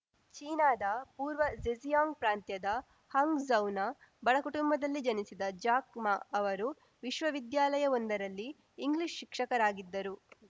ಚೀನಾದ ಪೂರ್ವ ಝೆಜಿಯಾಂಗ್‌ ಪ್ರಾಂತ್ಯದ ಹಾಂಗ್‌ಝೌನ ಬಡ ಕುಟುಂಬದಲ್ಲಿ ಜನಿಸಿದ ಜಾಕ್‌ ಮಾ ಅವರು ವಿಶ್ವವಿದ್ಯಾಲಯವೊಂದರಲ್ಲಿ ಇಂಗ್ಲಿಷ್‌ ಶಿಕ್ಷಕರಾಗಿದ್ದರು